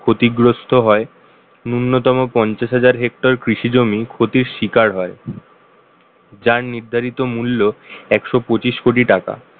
ক্ষতিগ্রস্ত হয় ন্যূনতম পঞ্চাশ হাজার hector কৃষি জমি ক্ষতির শিকার হয় যার নির্ধারিত মূল্য একশো পঁচিশ কোটি টাকা